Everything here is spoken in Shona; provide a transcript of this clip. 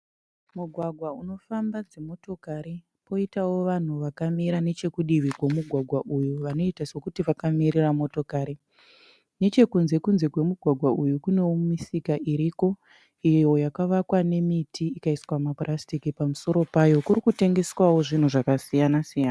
Mugwagwa unofamba dzimotokari , poitawo vanhu vakamira nechekudivi kwemugwagwa uyu vanoita sekuti vakamirira motokari. Nechekunze kunze kwemugwagwa uyu kunewo misika iriko. Iyo yakavakwa nemiti ikaiswa ma purasitiki pamusoro payo. Kuri kutengeswawo zvinhu zvakasiyana- siyana.